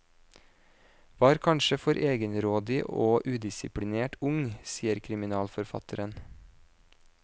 Var kanskje for egenrådig og udisiplinert ung, sier kriminalforfatteren.